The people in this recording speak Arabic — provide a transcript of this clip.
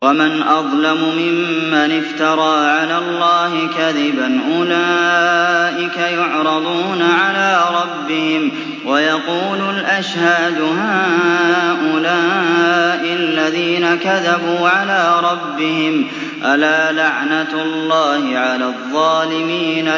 وَمَنْ أَظْلَمُ مِمَّنِ افْتَرَىٰ عَلَى اللَّهِ كَذِبًا ۚ أُولَٰئِكَ يُعْرَضُونَ عَلَىٰ رَبِّهِمْ وَيَقُولُ الْأَشْهَادُ هَٰؤُلَاءِ الَّذِينَ كَذَبُوا عَلَىٰ رَبِّهِمْ ۚ أَلَا لَعْنَةُ اللَّهِ عَلَى الظَّالِمِينَ